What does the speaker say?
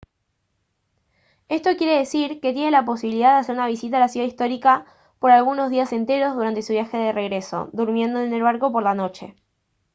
esto quiere decir que tiene la posibilidad de hacer una visita a la ciudad histórica por algunos días enteros durante su viaje de regreso durmiendo en el barco por la noche